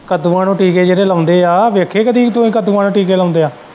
ਕੱਦੂਆਂ ਨੂੰ ਟੀਕੇ ਜਿਹੜੇ ਲਾਉਂਦੇ ਏ ਵੇਖੀ ਕਦੇ ਤੂੰ ਹੀ ਕੱਦੂਆਂ ਨੂੰ ਟੀਕੇ ਲਾਉਂਦੇ ਏ।